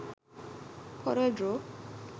corel draw